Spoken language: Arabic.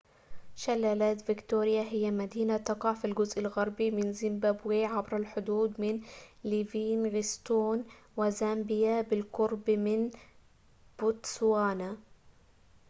شلالات فيكتوريا هي مدينة تقع في الجزء الغربي من زيمبابوي عبر الحدود من ليفينغستون وزامبيا وبالقرب من بوتسوانا